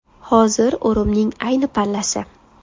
Hozir o‘rimning ayni pallasi.